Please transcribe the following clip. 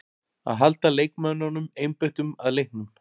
Að halda leikmönnunum einbeittum að leiknum.